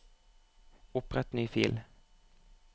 Opprett ny fil